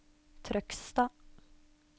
Trøgstad